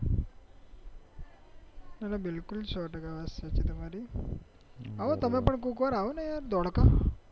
ના ના બિલકુલ સો ટકા વાત સાચી તમારી તમે પણ કોક વારો આવો ને યાર ધોળકા